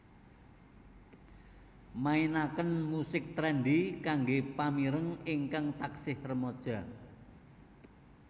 mainaken musik trendy kanggé pamireng ingkang taksih remaja